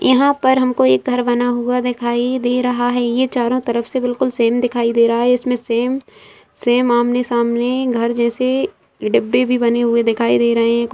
यहाँ पर हमको एक घर बना हुआ दिखाई दे रहा है ये चारों तरफ से बिलकुल सेम दिखाई दे रहा है इसमें सेम सेम आमने-सामने घर जैसे डिब्बे भी बने हुए दिखाई दे रहे हैं।